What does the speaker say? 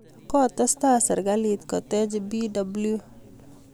kotestai serikalit kotech BW